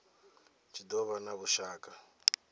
tshi do vha na vhushaka